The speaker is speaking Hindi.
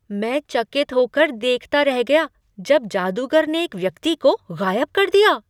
मैं चकित हो कर देखता रह गया जब जादूगर ने एक व्यक्ति को गायब कर दिया!